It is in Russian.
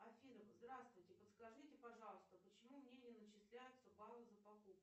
афина здравствуйте подскажите пожалуйста почему мне не начисляются баллы за покупки